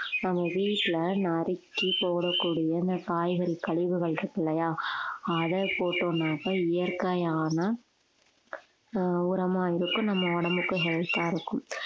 நம்ம வீட்டுல நறுக்கி போடக்கூடிய இந்த காய்கறி கழிவுகள் இருக்கு இல்லையா அதை போட்டோம்னாக்க இயற்கையான ஆஹ் உரமா இருக்கும். நம்ம உடம்புக்கு health ஆ இருக்கும்